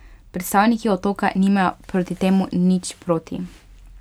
Predstavniki otoka nimajo proti temu nič proti.